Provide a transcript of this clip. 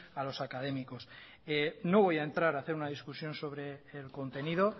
a los académicos no voy a entrar a hacer una discusión sobre el contenido